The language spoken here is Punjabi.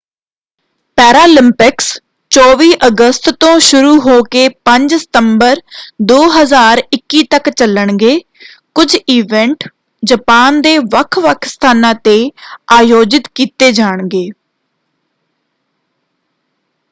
ਪੈਰਾਲਿਂਪਿਕਸ 24 ਅਗਸਤ ਤੋਂ ਸ਼ੁਰੂ ਹੋ ਕੇ 5 ਸਤੰਬਰ 2021 ਤੱਕ ਚਲਣਗੇ। ਕੁਝ ਇਵੈਂਟ ਜਪਾਨ ਦੇ ਵੱਖ ਵੱਖ ਸਥਾਨਾਂ ‘ਤੇ ਆਯੋਜਿਤ ਕੀਤੇ ਜਾਣਗੇ।